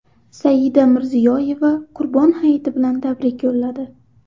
Saida Mirziyoyeva Qurbon hayiti bilan tabrik yo‘lladi.